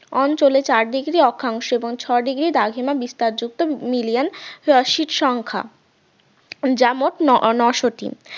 অঞ্চলে চারদিকের অক্ষাংশ এবং ছয় degree দ্রাঘিমা বিস্তার যুক্ত million sit সংখ্যা যা মোট নশো টি